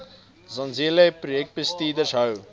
zenzele projekbestuurders hou